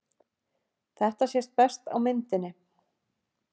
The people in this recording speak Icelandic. Þetta sést best á myndinni.